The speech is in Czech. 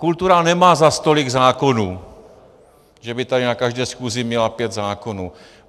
Kultura nemá zas tolik zákonů, že by tady na každé schůzi měla pět zákonů.